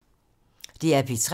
DR P3